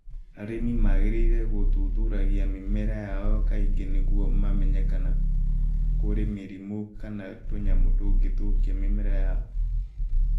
Arĩmi nĩ magĩrĩirũo gũthuthuragia mĩmera yao kaingĩ nĩguo mamenye kana nĩ kũrĩ mĩrimũ kana tũnyamũ tũngĩ tũthũkagia mĩmera ĩyo.